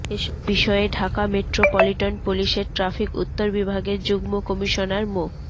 এসব বিষয়ে ঢাকা মেট্রোপলিটন পুলিশের ট্রাফিক উত্তর বিভাগের যুগ্ম কমিশনার মো